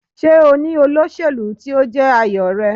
Ṣé o ní olóṣèlú tí ó jẹ́ àyò rẹ.?